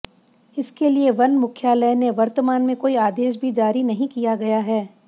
इसके लिए वन मुख्यालय ने वर्तमान में काेई आदेश भी जारी नहीं किया गया है